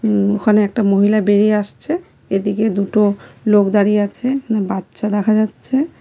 উম ওখানে একটা মহিলা বেরিয়ে আসছে এদিকে দুটো লোক দাঁড়িয়ে আছে বাচ্চা দেখা যাচ্ছে।